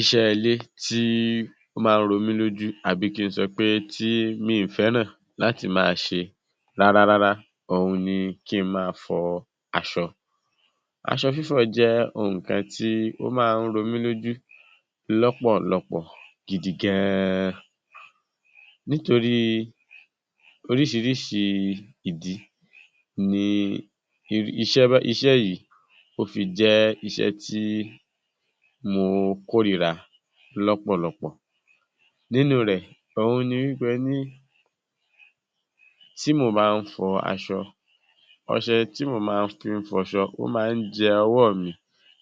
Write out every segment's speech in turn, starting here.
Iṣẹ́ ilé tí ó máa ń ro mí lójú àbí kí n sọ pé tí mi fẹ́ràn láti máa ṣe rárá rárá òhun ni kí n máa fọ aṣọ. Aṣọ fífọ̀ jẹ́ ohun kan tí ó máa ń ro mí lójú lọ́pọ̀lọpọ̀ gidi gan-an. Nítorí oríṣìíríṣìí ìdí ni i, iṣẹ́ bá, iṣẹ́ yìí ó fi jẹ́ iṣẹ́ tí mo kórira lọ́pọ̀lọpọ̀. Nínú rẹ̀, òhun ni wí pé ní tí mò bá ń fọ aṣọ, ọṣẹ tí mò máa fi ń fọ aṣọ ó máa ń jẹ ọwọ́ mi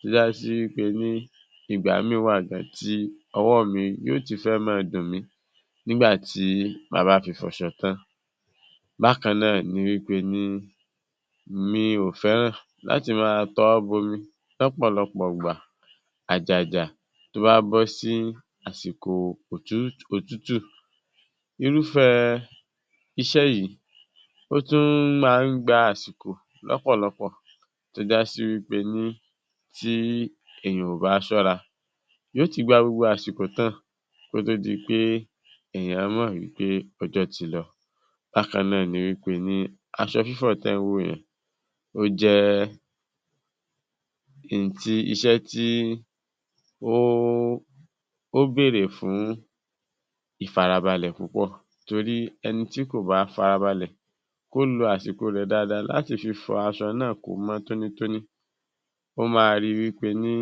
tó jásí wí pé ní ìgbà míì wà gan-an tí ọwọ́ mi yóò ti fẹ́ máa dùn mí nígbà tí màá bá fi fọṣọ tán. Bákan náà ni wí pé ní mi ò fẹ́ràn láti máa tọwọ́ bomi lọ́pọ̀lọpọ̀ ìgbà àjàjà tó bá bọ́ sí àsìkò òtútù. Irúfẹ́ iṣẹ́ yìí, ó tún máa ń gba àsìkò lọ́pọ̀lọpọ̀ tó jásí wí pé ní tí ènìyàn ò bá ṣọ́ra yóò ti gba gbogbo àsìkò tán kó tó di pé èèyàn mọ̀ wí pé ọjọ́ ti lọ. Bákan náà ni wí pé ní aṣọ fífọ̀ tẹ́ ń wò yẹn, ó jẹ́ n tí, iṣẹ́ tí ó, ó béèrè fún ìfarabalẹ̀ púpọ̀ torí ẹni tí kò bá farabalẹ̀ kó lo àsìkò rẹ̀ dáadáa láti fi fọ aṣọ náà kó mọ́ tónítóní, ó máa ríi wí pé ní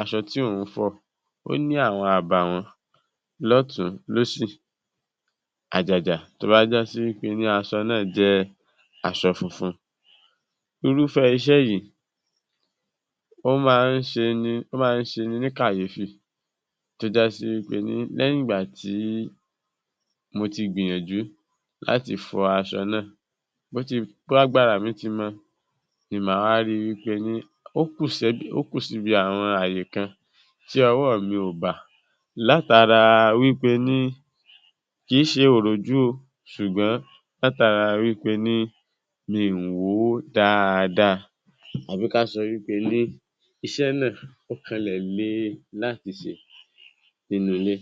aṣọ tí òun fọ̀ ó ní àwọn àbàwọ́n lọ́tùn-ún lósì, àjàjà tó bá jásí wí pé ní aṣọ náà jẹ́ aṣọ funfun. Irúfẹ́ iṣẹ́ yìí, ó máa ń ṣeni, ó máa ń ṣeni ní kàyéfì tó jásí wí pé ní lẹ́yìn ìgbà tí mo ti gbìyànjú láti fọ aṣọ náà bó ti, bágbára mi ti mọ. Ni màá wá ríi wí pé ní ó kú sẹ́, ó kú síbi àwọn ààyè kan tí ọwọ́ mi ò bà látara wí pé ní kì í ṣe òròjú o ṣùgbọ́n látara wí pé ní mi wò ó dáadáa, àbí ká sọ wí pé ní iṣẹ́ náà ó kanlẹ̀ le láti ṣe nínú ilé.